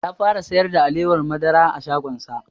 Ya fara sayar da alewar madara a shagon sa